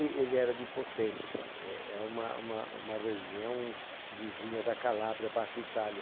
Ele era de Potenza, é é uma uma uma região vizinha da Calabria, Baixa Itália.